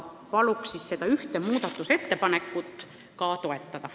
Palun seda ühte muudatusettepanekut toetada!